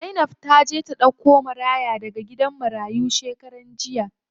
Zainab taje ta ɗauko maraya daga gidan marayu shekaran jiya.